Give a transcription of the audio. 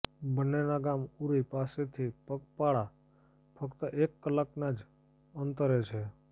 બંનેના ગામ ઉરી પાસેથી પગપાળા ફક્ત એક કલાકના જ અંતરે છે